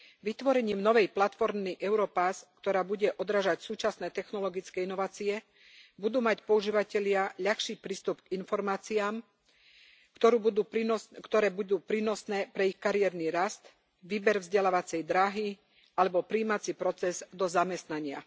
Vytvorením novej platformy Europass, ktorá bude odrážať súčasné technologické inovácie, budú mať používatelia ľahší prístup k informáciám, ktoré budú prínosné pre ich kariérny rast, výber vzdelávacej dráhy alebo prijímací proces do zamestnania.